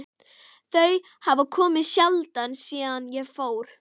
Þau hafa komið sjaldan síðan ég fór.